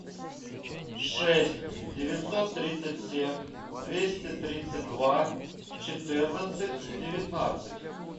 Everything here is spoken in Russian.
шесть девятьсот тридцать семь двести тридцать два четырнадцать девятнадцать